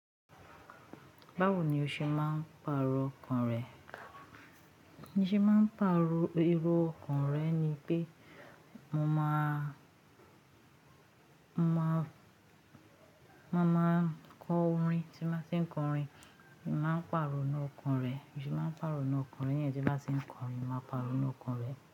Báwo ni o ṣe máà ń pàrọ̀ ọkàn rẹ? Iṣẹ́ máà ń pàrọ̀ erọ́ ọkàn rẹ̀ ni pé mo máa, mo máa, mo máa kọ orin, tí mo bá ti ń kọrin, mo màá pàrọ̀nu ọkàn rẹ̀. Biṣẹ́ máà ń pàrọ̀ inú ọkan re niyẹn, tí bá te ń kọrin, màá pàrọ̀ inú ọkàn rẹ̀.